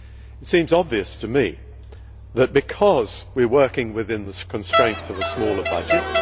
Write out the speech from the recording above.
It seems obvious to me that, because we are working within the constraints of a smaller budget